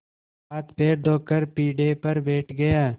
हाथपैर धोकर पीढ़े पर बैठ गया